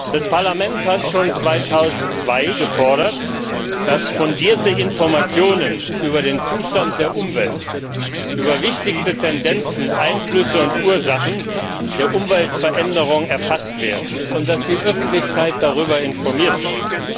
Das Parlament hat schon 2002 gefordert, dass fundierte Informationen über den Zustand der Umwelt, über die wichtigsten Tendenzen, Einflüsse und Ursachen der Umweltveränderung erfasst werden und dass die Öffentlichkeit darüber informiert wird.